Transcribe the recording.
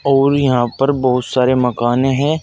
और यहां पर बहोत सारे मकाने हैं।